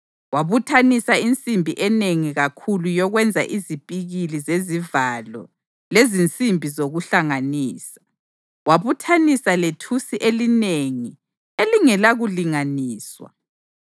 Wabuthanisa insimbi enengi kakhulu yokwenza izipikili zezivalo lezinsimbi zokuhlanganisa, wabuthanisa lethusi elinengi elingelakulinganiswa.